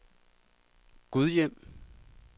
Gudhjem